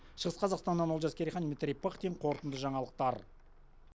шығыс қазақстаннан олжас керейхан дмитрий пыхтин қорытынды жаңалықтар